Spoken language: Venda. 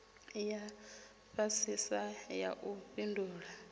ya fhasisa ya u fhindula